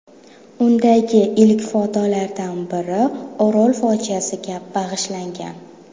Undagi ilk fotolardan biri Orol fojiasiga bag‘ishlangan.